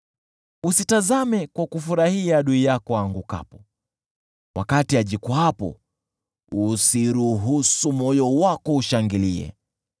Usitazame kwa kufurahia adui yako aangukapo; wakati ajikwaapo, usiruhusu moyo wako ushangilie.